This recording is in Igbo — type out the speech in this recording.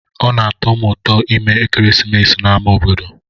Ọ na-atọ m ụtọ ime ekeresimesi n'ámá obodo.